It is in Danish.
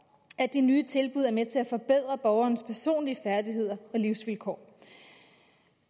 at de nye tilbud er med til at forbedre borgerens personlige færdigheder og livsvilkår